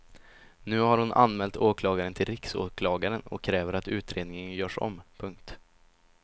Nu har hon anmält åklagaren till riksåklagaren och kräver att utredningen görs om. punkt